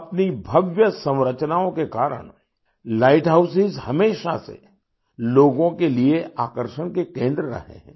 अपनी भव्य संरचनाओं के कारण लाइट हाउसों हमेशा से लोगों के लिए आकर्षण के केंद्र रहे हैं